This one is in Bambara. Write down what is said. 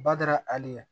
Bada ali